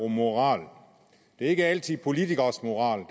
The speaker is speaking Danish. moral det er ikke altid at politikeres moral